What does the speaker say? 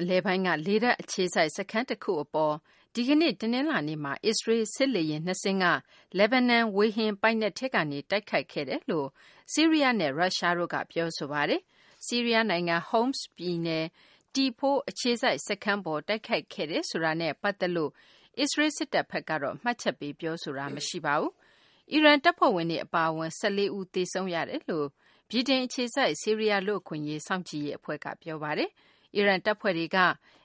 အလယ်ပိုင်းက လေတပ်အခြေစိုက် စခန်းတခု အပေါ် ဒီကနေ့ တနလာၤနေ့မှာ အစ္စရေးလ် စစ်လေယာဉ် နှစ်စင်းက လက်ဘနွန် ဝေဟင်ပိုင်နက်ထဲကနေ တိုက်ခိုက်ခဲ့တယ်လို့ ဆီးရီးယားနဲ့ ရုရှားတို့က ပြောဆိုလိုက်ပါတယ်။ ဆီးရီးယား နိုင်ငံ Homs ပြည်နယ် T4 အခြေစိုက် စခန်းပေါ် တိုက်ခိုက်ခဲ့တယ်ဆိုတာနဲ့ ပတ်သက်လို့ အစ္စရေးလ် စစ်တပ်ဘက်ကတော့ မှတ်ချက်ပေး ပြောဆိုခြင်း မရှိပါဘူး။ အီရန်တပ်ဖွဲ့ဝင်တွေ အပါအဝင် ၁၄ ဦး သေဆုံးတယ်လို့ ဗြိတိန် အခြေစိုက် ဆီးရီးယား လူ့အခွင့်အရေး စောင့်ကြည့်ရေး အဖွဲ့က ပြောပါတယ်။ အီရန် တပ်ဖွဲ့တွေက